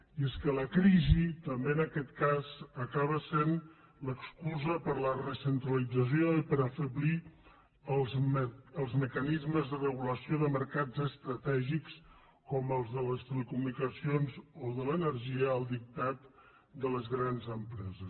i és que la crisi també en aquest cas acaba essent l’excusa per a la recentralització i per afeblir els mecanismes de regulació de mercats estratègics com el de les telecomunicacions o el de l’energia al dictat de les grans empreses